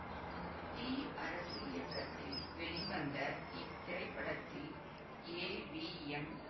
D Arasu இயக்கத்தில் வெளிவந்த இத்திரைப்படத்தில் ஏ வி எம்